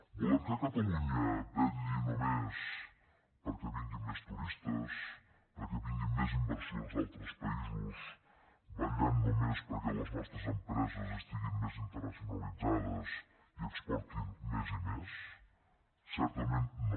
volem que catalunya vetlli només perquè vinguin més turistes perquè vinguin més inversions d’altres països i vetlli només perquè les nostres empreses estiguin més internacionalitzades i exportin més i més certament no